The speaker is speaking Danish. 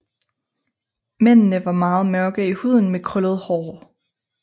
Mændene var meget mørke i huden med krøllet hår